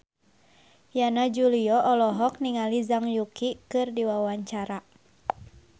Yana Julio olohok ningali Zhang Yuqi keur diwawancara